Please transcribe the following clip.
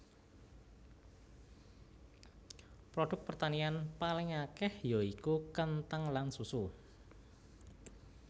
Produk pertanian paling akèh ya iku kenthang lan susu